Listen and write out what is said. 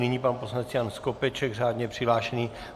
Nyní pan poslanec Jan Skopeček, řádně přihlášený.